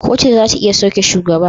Kotu zata iya sauke shugaba